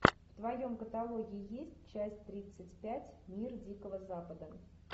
в твоем каталоге есть часть тридцать пять мир дикого запада